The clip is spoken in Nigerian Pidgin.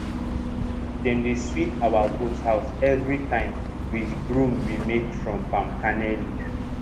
dem dey sweep our goat house every time with broom wey we make from palm kernel leaf